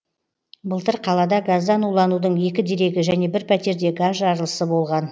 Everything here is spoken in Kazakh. былтыр қалада газдан уланудың екі дерегі және бір пәтерде газ жарылысы болған